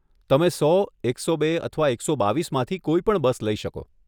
તમે સો, એકસો બે, અથવા એકસો બાવીસમાંથી કોઈ પણ બસ લઇ શકો.